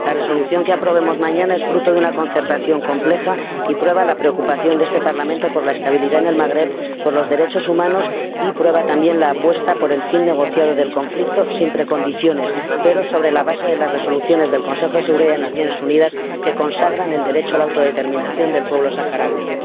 La resolución que aprobemos mañana es fruto de una concertación compleja y prueba la preocupación de este Parlamento por la estabilidad en el Magreb y por los derechos humanos, y prueba también la apuesta por el fin negociado del conflicto, sin precondiciones, pero sobre la base de las resoluciones del Consejo de Seguridad de las Naciones Unidas que consagran el derecho a la autodeterminación del pueblo saharaui.